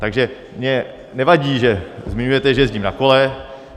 Takže mně nevadí, že zmiňujete, že jezdím na kole.